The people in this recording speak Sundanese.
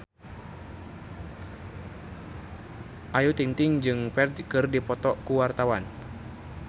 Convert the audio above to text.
Ayu Ting-ting jeung Ferdge keur dipoto ku wartawan